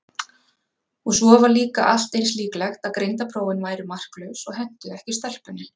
Og svo var líka allt eins líklegt að greindarprófin væru marklaus og hentuðu ekki stelpunni.